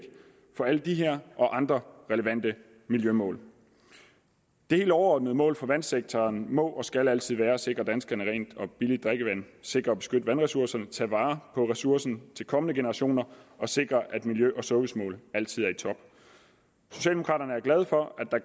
for alle de her og andre relevante miljømål det helt overordnede mål for vandsektoren må og skal altid være at sikre danskerne rent og billigt drikkevand sikre og beskytte vandressourcerne tage vare på ressourcen til kommende generationer og sikre at miljø og servicemål altid er i top socialdemokraterne er glade for at